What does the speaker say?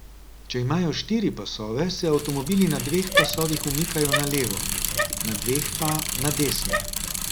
Če imajo štiri pasove, se avtomobili na dveh pasovih umikajo na levo, na dveh pa na desno.